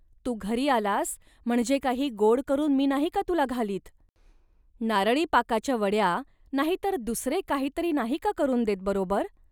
तू घरी आलास, म्हणजे काही गोड करून मी नाही का तुला घालीत. नारळीपाकाच्या वड्या, नाही तर दुसरे काही तरी नाही का करून देत बरोबर